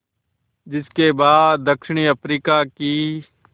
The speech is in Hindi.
जिस के बाद दक्षिण अफ्रीका की